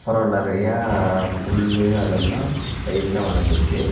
அப்றோ நறையா புல்லு அதெல்லா சைடுல வளந்துருக்கு.